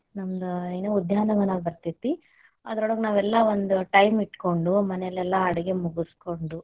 ನಮ್ದ್ ಏನೂ ಉದ್ಯಾನವನಾ ಬರತೇತಿ, ಅದರೊಳಗ್ ನಾವೆಲ್ಲಾ ಒಂದ್ time ಇಟ್ಕೊಂಡು ಮನೇಲೆಲ್ಲ ಅಡುಗೆ ಮುಗಸ್ಕೊಂಡು.